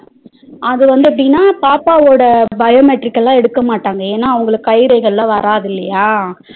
அதுவந்து எப்பிடினா பாப்பாவோட biometric ல எடுக்கமாட்டாங்க ஏன அவங்களுக்கு கைரேகைல வராது இல்லையா